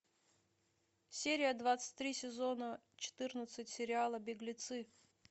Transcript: серия двадцать три сезона четырнадцать сериала беглецы